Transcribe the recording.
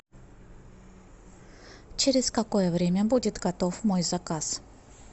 через какое время будет готов мой заказ